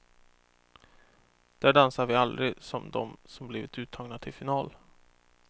Där dansar vi aldrig som dem som blivit uttagna till final.